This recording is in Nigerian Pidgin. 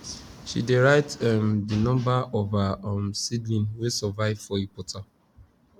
she dey write um the number of her um seedling wey survive for eportal